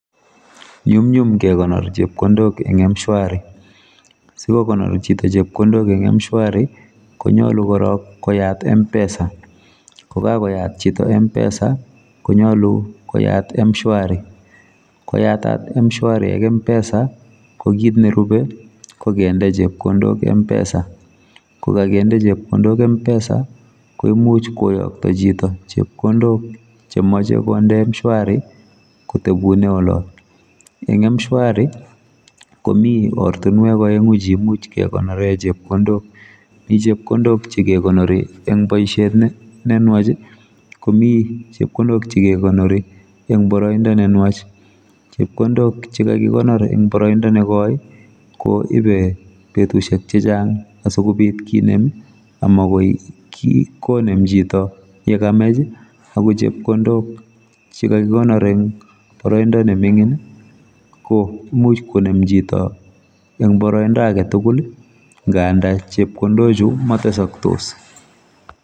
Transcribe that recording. Nyumnyum kekonor chepkondok eng mshwari sikokonor chito chepkondo eng mshwari konyolu korok koyat mpesa yekakoyat chito mpesa konyalu koyat mshwari koyatat mshwari ak mpesa kokit nerube kokende chepkondok mpesa kokakende chepkondok mpesa komuchi koyokto chito chepkondok chemoch konde mshwari kotebune olot eng mshwari komi ortinwek aenu chekemuch kekonore chepkondok mi chepkondok chekekonori eng boisiet nenwach akomi chekekonori eng boroindo nenwach chepkondok chekakikonor eng boroindo nekoi koibe betusiek chechang asikobit kenem akomakoi konem chito yekamach akochepkondok chekakikonor eng boroindo ne mining komuch konemchito eng boroindo aketugul ngaanda chepkondochu matesaktos.